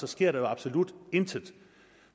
sker der absolut intet